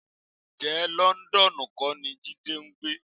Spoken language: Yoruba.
Ǹjẹ́ Lọ́ńdọ́ọ̀nù kọ́ ni Jídé ń gbé?